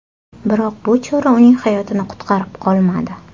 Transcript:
Biroq bu chora uning hayotini qutqarib qolmadi.